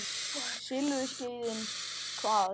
Silfurskeiðin hvað?